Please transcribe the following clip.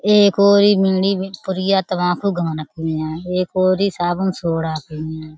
एक ओरी एक ओरी साबुन-सोडा हैं।